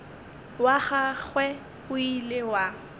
wa gagwe o ile wa